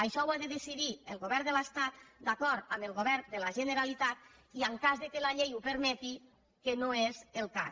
això ho ha de decidir el govern de l’estat d’acord amb el govern de la generalitat i en cas que la llei ho permeti que no és el cas